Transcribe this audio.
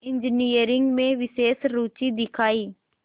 engineering में विशेष रुचि दिखाई